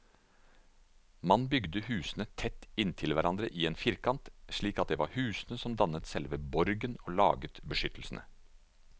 Man bygde husene tett inntil hverandre i en firkant, slik at det var husene som dannet selve borgen og laget beskyttelsen.